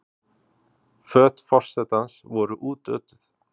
Föt forsetans voru útötuð